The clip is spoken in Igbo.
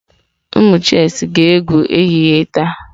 Ụmụ chess ga-egwu ehihie taa.